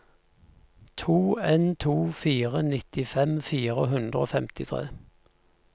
to en to fire nittifem fire hundre og femtitre